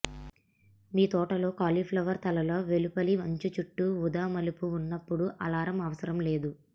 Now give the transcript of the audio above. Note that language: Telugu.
మీ తోటలో కాలీఫ్లవర్ తలలు వెలుపలి అంచు చుట్టూ ఊదా మలుపు ఉన్నప్పుడు అలారం అవసరం లేదు